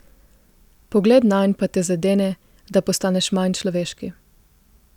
Pogled nanj pa te zadene, da postaneš manj človeški.